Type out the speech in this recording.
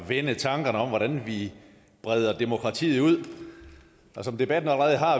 at vende tankerne om hvordan vi breder demokratiet ud og som debatten allerede har